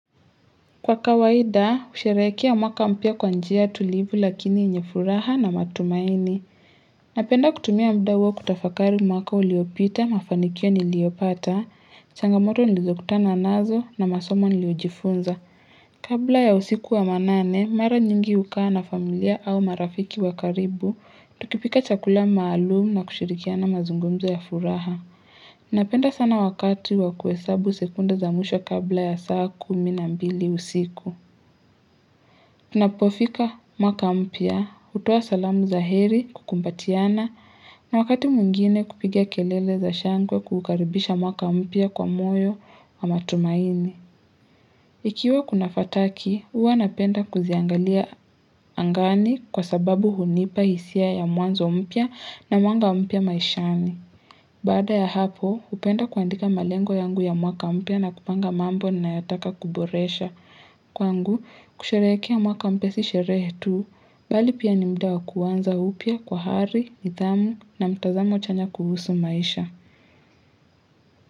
Kwa kawaida, husherehekea mwaka mpya kwa njia tulivu lakini yenye furaha na matumaini. Napenda kutumia muda huwo kutafakari mwaka uliopita, mafanikio niliopata, changamoto nilizokutana nazo na masomo niliojifunza. Kabla ya usiku wa manane, mara nyingi hukaa na familia au marafiki wa karibu, tukipika chakula maalumu na kushirikiana mazungumzo ya furaha. Ninapenda sana wakati wa kuhesabu sekunda za mwisho kabla ya saa kumi na mbili usiku Unapofika mwaka mpya, hutoa salamu za heri kukumbatiana na wakati mwingine kupigia kelele za shangwe kukaribisha mwaka mpya kwa moyo na matumaini Ikiwa kuna fataki, huwa napenda kuziangalia angani kwa sababu hunipa hisia ya mwanzo mpya na mwanga mpya maishani Baada ya hapo, hupenda kuandika malengo yangu ya mwaka mpya na kupanga mambo ninayotaka kuboresha. Kwangu, kusherehekea mwaka mpya si sherehe tu, bali pia ni muda wa kuanza upya kwa hari, nidhamu na mtazamo chanya kuhusu maisha.